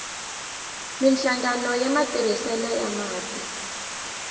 minhlangano ya matirhiselo ya mati